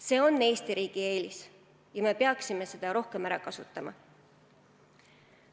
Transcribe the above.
See on Eesti riigi eelis ja me peaksime seda rohkem ära kasutama.